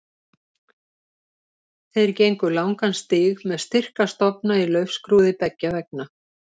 Þeir gengu langan stíg með styrka stofna í laufskrúði beggja vegna.